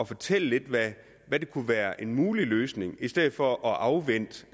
fortælle hvad der kunne være en mulig løsning i stedet for at afvente